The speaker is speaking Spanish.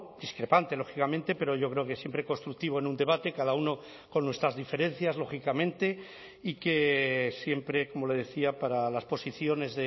discrepante lógicamente pero yo creo que siempre constructivo en un debate cada uno con nuestras diferencias lógicamente y que siempre como le decía para las posiciones